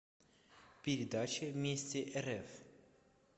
передача вместе рф